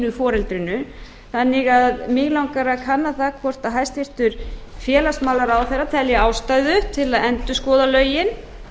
hinu foreldrinu þannig að mig langar til að kanna það hvort hæstvirtur félagsmálaráðherra telji ástæðu til að endurskoða lögin